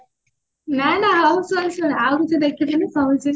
ନା ନା sorry sorry ଆଉ କିଛି ଦେଖିଥିଲି କହୁଛି